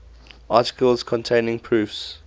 articles containing proofs